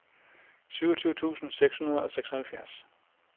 syvogtyve tusind seks hundrede og seksoghalvfjerds